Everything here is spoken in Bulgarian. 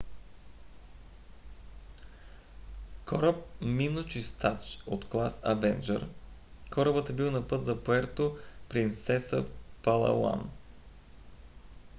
кораб миночистач от клас avenger корабът е бил на път за пуерто принсеса в палауан